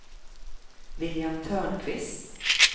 William Törnqvist